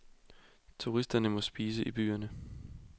Turisterne må spise i byerne.